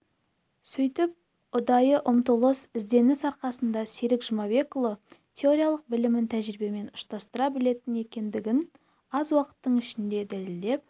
сөйтіп ұдайы ұмтылыс ізденіс арқасында серік жұмабекұлы теориялық білімін тәжірибемен ұштастыра білетін екендігін аз уақыттың ішінде дәлелдеп